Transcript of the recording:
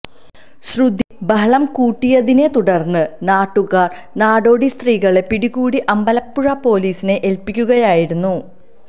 ശ്രുതി ബഹളം കൂട്ടിയതിനെ തുടര്ന്ന് നാട്ടുകാര് നാടോടി സ്ത്രീകളെ പിടികൂടി അമ്പലപ്പുഴ പൊലിസിനെ ഏല്പ്പിക്കുകയായിരുന്നു